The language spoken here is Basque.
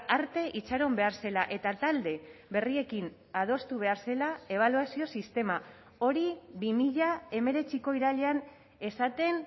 arte itxaron behar zela eta talde berriekin adostu behar zela ebaluazio sistema hori bi mila hemeretziko irailean esaten